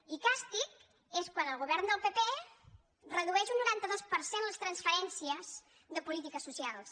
i càstig és quan el govern del pp redueix un noranta dos per cent les transferències de polítiques socials